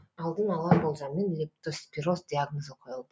алдын ала болжаммен лептоспироз диагнозы қойылды